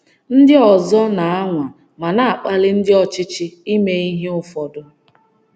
Ndị ọzọ na - anwa ma na-akpali ndị ọchịchị ime ihe ụfọdụ.